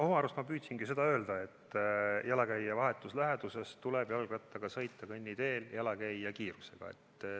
Oma arust ma püüdsingi seda öelda, et jalakäija vahetus läheduses tuleb jalgrattaga kõnniteel sõita jalakäija kiirusega.